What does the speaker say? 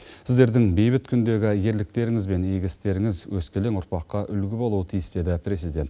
сіздердің бейбіт күндегі ерліктеріңіз бен игі істеріңіз өскелең ұрпаққа үлгі болуы тиіс деді президент